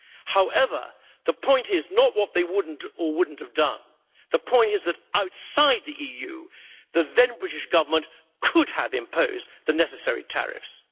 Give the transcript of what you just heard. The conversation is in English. However, the point is not what they would or wouldn't have done, the point is that outside the EU the then British Government could have imposed the necessary tariffs.